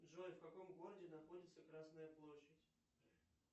джой в каком городе находится красная площадь